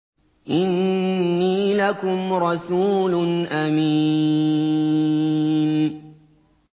إِنِّي لَكُمْ رَسُولٌ أَمِينٌ